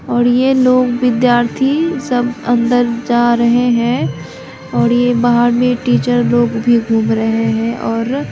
ओर ये लोग विधार्थी सब अंदर जा रहे हैं और ये बहार में टीचर लोग भी घूम रहे है और--